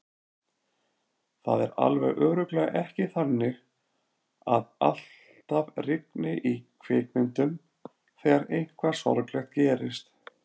Það er alveg örugglega ekki þannig að alltaf rigni í kvikmyndum þegar eitthvað sorglegt gerist.